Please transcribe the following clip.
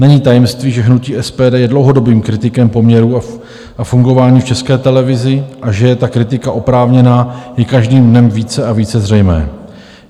Není tajemstvím, že hnutí SPD je dlouhodobým kritikem poměrů a fungování v České televizi, a že je ta kritika oprávněná, je každým dnem více a více zřejmé.